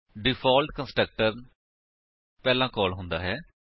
default constructor ਪਹਿਲਾਂ call ਹੁੰਦਾ ਹੈ